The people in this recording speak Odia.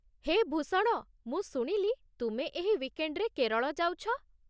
ହେ ଭୂଷଣ, ମୁଁ ଶୁଣିଲି ତୁମେ ଏହି ୱିକେଣ୍ଡ୍‌ରେ କେରଳ ଯାଉଛ ।